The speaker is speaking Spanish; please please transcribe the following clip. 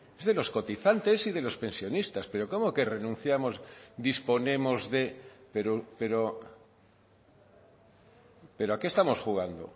es de los cotizantes y de los pensionistas pero cómo que renunciamos disponemos de pero pero a qué estamos jugando